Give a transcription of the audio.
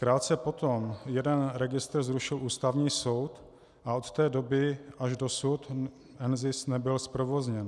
Krátce po tom jeden registr zrušil Ústavní soud a od té doby až dosud NZIS nebyl zprovozněn.